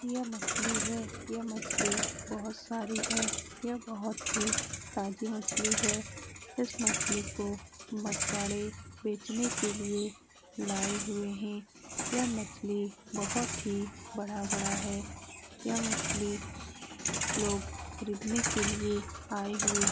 यह मछली है यह मछली बहुत सारी है | यह बहुत ही ताजी मछली है | इस मछली को मछवारे बेचने के लिए लाये हुए हैं | यह मछली बहुत ही बड़ा बड़ा है यह मछली लोग खरीदने के लिए आए हुयें हैं ।